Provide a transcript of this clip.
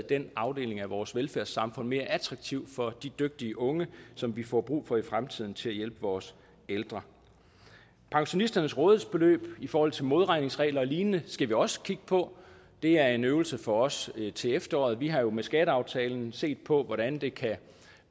den afdeling af vores velfærdssamfund mere attraktiv for de dygtige unge som vi får brug for i fremtiden til at hjælpe vores ældre pensionisternes rådighedsbeløb i forhold til modregningsregler og lignende skal vi også kigge på det er en øvelse for os til efteråret vi har jo med skatteaftalen set på hvordan det